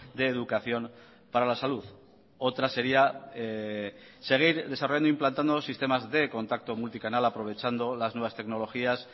de educación para la salud otra sería seguir desarrollando e implantando sistemas de contacto multicanal aprovechando las nuevas tecnologías